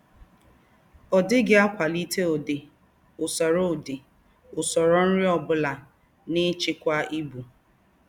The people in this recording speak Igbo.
Ọ̀ díghị ákwàlíté údí́ ùsòrò údí́ ùsòrò nrí ọ́ búlà n’íchíkwá íbù